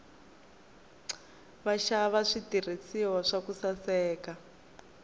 vaxava switirhiswa swa ku saseka